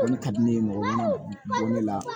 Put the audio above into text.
O de ka di ne ye mɔgɔ min bɔ ne la